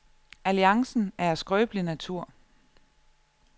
Alliancen er af skrøbelig natur.